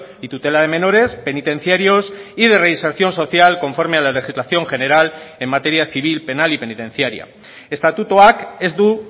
y tutela de menores penitenciarios y de reinserción social conforme a la legislación general en materia civil penal y penitenciaria estatutuak ez du